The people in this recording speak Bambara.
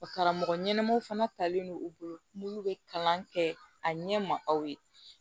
Karamɔgɔ ɲɛnamaw fana talen don u bolo minnu bɛ kalan kɛ a ɲɛ ma aw ye